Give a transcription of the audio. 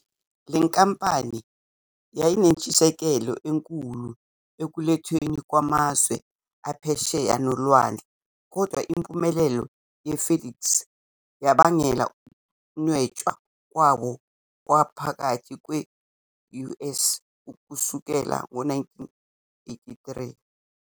Le nkampani yayinentshisekelo enkulu ekulethweni kwamazwe aphesheya nolwandle, kodwa impumelelo ye- FedEx yabangela ukunwetshwa kwabo kwangaphakathi kwe-US kusukela ngo-1983.